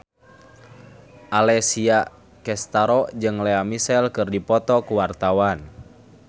Alessia Cestaro jeung Lea Michele keur dipoto ku wartawan